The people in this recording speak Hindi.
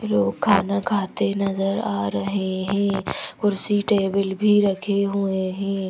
लोग खाना खाते नजर आ रहे हें कुर्सी टेबिल भी रखे हुए हैं।